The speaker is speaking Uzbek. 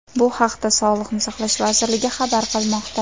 Bu haqda Sog‘liqni saqlash vazirligi xabar qilmoqda .